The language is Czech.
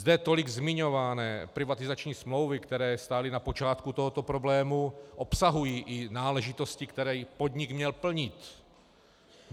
Zde tolik zmiňované privatizační smlouvy, které stály na počátku tohoto problému, obsahují i náležitosti, které podnik měl plnit.